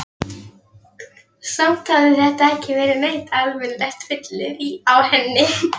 Samt hafði þetta ekki verið neitt almennilegt fyllirí á henni.